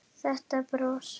Þetta bros!